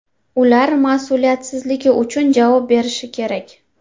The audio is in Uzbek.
Ular mas’uliyatsizligi uchun javob berishi kerak.